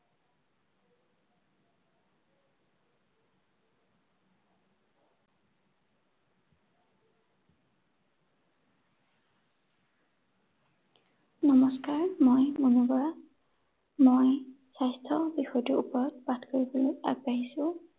নমস্কাৰ, মই মুনু বৰা। মই স্বাস্থ্য বিষয়টোৰ ওপৰত পাঠ কৰিবলৈ আগবাঢ়িছো।